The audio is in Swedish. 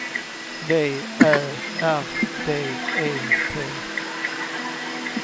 V Ä R D E T